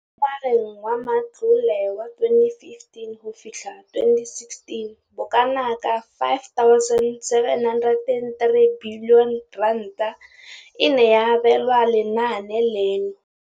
Mo ngwageng wa matlole wa 2015,16, bokanaka R5 703 bilione e ne ya abelwa lenaane leno.